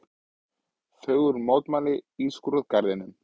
Þögul mótmæli í skrúðgarðinum